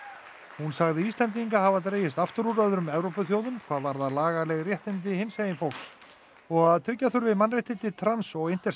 hún sagði Íslendinga hafa dregist aftur úr öðrum Evrópulöndum hvað varðar lagaleg réttindi hinsegin fólks og að tryggja þurfi mannréttindi trans og intersex